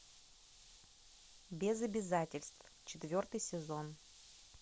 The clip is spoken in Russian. без обязательств четвертый сезон